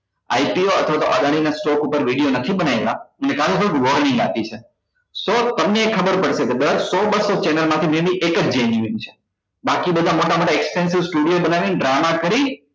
ITO અથવા તો અદાણી ના stock પર video નથી બનાયી હકતા કારણ કે આ લોકો એ warning આપી છે સો તમને ય ખબર પડશે કે દર સો બસ્સો channel માંથી many એક જ genuine છે બાકી બધા મોટા મોટા expensive studio બનાવી ને ડ્રામા કરી